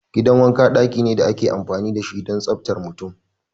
Gidan wanka daki ne da ake amfani da shi don tsaftar mutum.